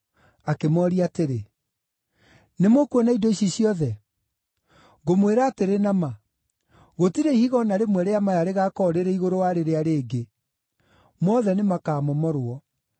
Akĩmooria atĩrĩ, “Nĩmũkuona indo ici ciothe? Ngũmwĩra atĩrĩ na ma, gũtirĩ ihiga o na rĩmwe rĩa maya rĩgaakorwo rĩrĩ igũrũ wa rĩrĩa rĩngĩ; mothe nĩmakamomorwo.”